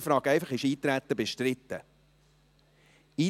Ich frage einfach, ob das Eintreten bestritten ist.